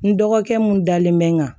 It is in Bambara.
N dɔgɔkɛ mun dalen bɛ n kan